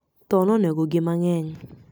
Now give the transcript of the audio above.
Tho negogi mang'eny